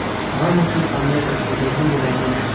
Ramosni qanday tasvirlagan bo‘lardingiz?